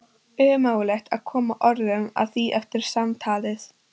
Ómögulegt að koma orðum að því eftir samtalið.